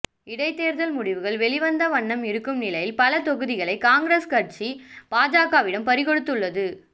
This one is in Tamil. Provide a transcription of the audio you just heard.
இடைத்தேர்தல் முடிவுகள் வெளிவந்த வண்ணம் இருக்கும் நிலையில் பல தொகுதிகளை காங்கிரஸ் கட்சி பாஜகவிடம் பறி கொடுத்துள்ளது